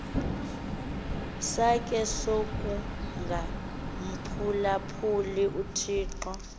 sakhe sokungamphulaphuli uthixo